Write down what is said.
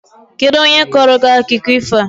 Kedụ onye kọọrọ gị akụkọ ifo a?